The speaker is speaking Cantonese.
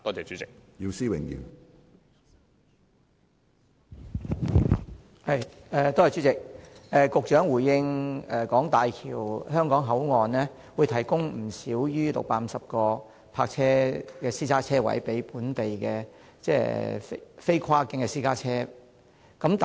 主席，大橋香港口岸會提供不少於650個私家車泊車位，供本地非跨境私家車停泊。